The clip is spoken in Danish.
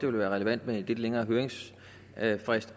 ville være relevant med en lidt længere høringsfrist